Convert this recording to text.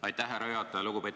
Aitäh, härra juhataja!